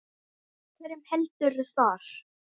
Með hverjum heldurðu þar?